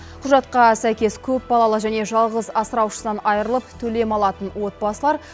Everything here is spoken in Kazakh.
құжатқа сәйкес көпбалалы және жалғыз асыраушысынан айрылып төлем алатын отбасылар